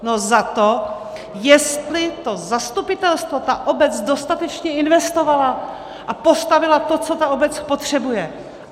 No za to, jestli to zastupitelstvo, ta obec dostatečně investovala a postavila to, co ta obec potřebuje.